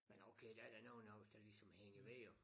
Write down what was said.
Men okay der er da nogen af os der ligesom hænger ved jo